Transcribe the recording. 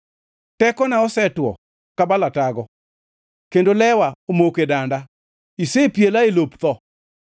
Tekona osetwo ka balatago, kendo lewa omoko e danda; isepiela e lop tho.